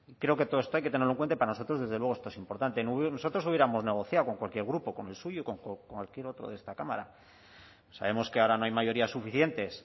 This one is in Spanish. creo que todo esto hay que tenerlo cuenta y para nosotros desde luego esto es importante nosotros hubiéramos negociado con cualquier grupo con el suyo y con cualquier otro de esta cámara sabemos que ahora no hay mayorías suficientes